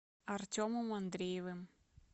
артемом андреевым